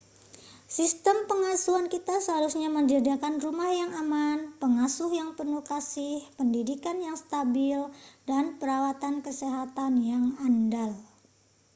sistem pengasuhan kita seharusnya menyediakan rumah yang aman pengasuh yang penuh kasih pendidikan yang stabil dan perawatan kesehatan yang andal